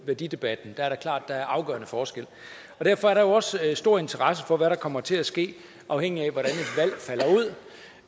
værdidebatten er det klart at der er afgørende forskel derfor er der også stor interesse for hvad der kommer til at ske afhængigt